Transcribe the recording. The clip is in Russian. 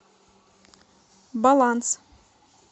баланс